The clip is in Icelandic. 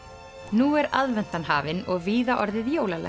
nú er aðventan hafin og víða orðið jólalegt